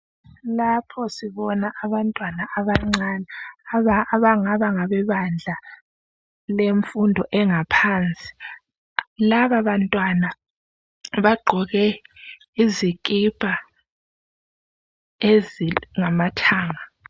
Lapho sibona abantwana abancane abangaba ngabebanga lemfundo engaphansi. Laba bantwana bagqoke izikipa ezingamathanga.